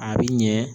A bi ɲɛ